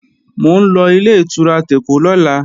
Mò ń lọ Ilé-ìtura tèkó lọ́la